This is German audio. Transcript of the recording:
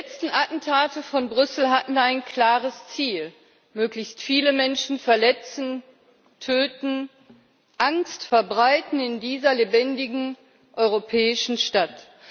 Herr Präsident! Die letzten Attentate von Brüssel hatten ein klares Ziel möglichst viele Menschen verletzen, töten, Angst verbreiten in dieser lebendigen europäischen Stadt.